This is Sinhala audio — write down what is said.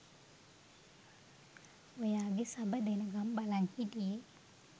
ඔයාගේ සබ දෙනකම් බලන් හිටියේ